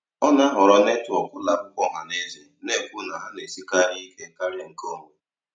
Ọ na-ahọrọ netwọk ụlọ akwụkwọ ọha na eze, na-ekwu na ha na-esikarị ike karịa nke onwe.